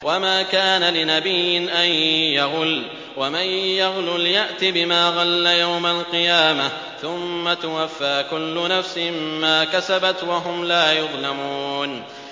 وَمَا كَانَ لِنَبِيٍّ أَن يَغُلَّ ۚ وَمَن يَغْلُلْ يَأْتِ بِمَا غَلَّ يَوْمَ الْقِيَامَةِ ۚ ثُمَّ تُوَفَّىٰ كُلُّ نَفْسٍ مَّا كَسَبَتْ وَهُمْ لَا يُظْلَمُونَ